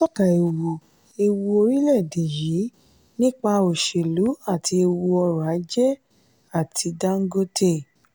atọ́ka ewu ewu orílẹ̀ èdè yí nípa òṣèlú àti ewu ọrọ̀ ajé àti dangote.